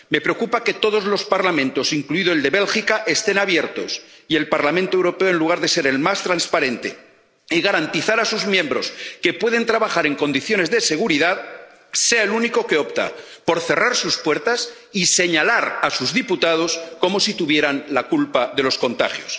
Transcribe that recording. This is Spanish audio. Me preocupa que todos los Parlamentos, incluido el de Bélgica, estén abiertos, y el Parlamento Europeo, en lugar de ser el más transparente y garantizar a sus miembros que puedan trabajar en condiciones de seguridad, sea el único que opta por cerrar sus puertas y señalar a sus diputados como si tuvieran la culpa de los contagios.